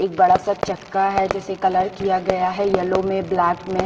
एक बड़ा सा चक्का है जिसे कलर किया गया है येलो में ब्लैक में--